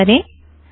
संचय करें